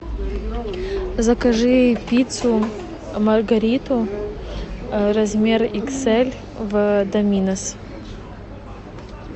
закажи пиццу маргариту размер икс эль в доминос